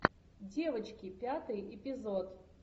девочки пятый эпизод